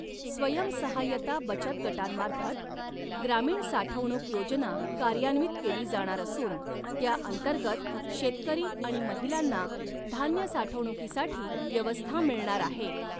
स्वयंसहाय्यता बचत गटांमार्फत ग्रामीण साठवणूक योजना कार्यान्वित केली जाणार असून त्या अंतर्गत शेतकरी आणि महिलांना धान्य साठवणुकीसाठी व्यवस्था मिळणार आहे.